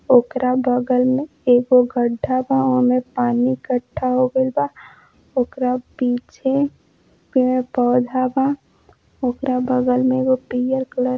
ओकरा बगल मे एगो गड्ढा बा ओमे पानी इकठ्ठा हो गइल बा। ओकरा पीछे पेड़ पौधा बा। ओकरा बगल मे एगो पीयर कलर --